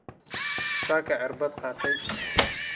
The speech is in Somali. Saaka cirbat qaatey.